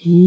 hi.